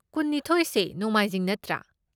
ꯀꯨꯟꯅꯤꯊꯣꯢꯁꯦ ꯅꯣꯡꯃꯥꯏꯖꯤꯡ ꯅꯠꯇ꯭ꯔꯥ?